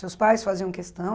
Seus pais faziam questão?